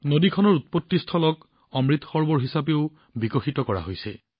নদীখনৰ উৎপত্তিস্থল অমৃত সৰোৱৰ হিচাপেও উন্নয়ন সাধন কৰা হৈছে